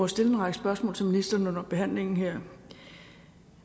stille en række spørgsmål til ministeren under behandlingen her